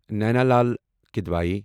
Naina Lal Kidwai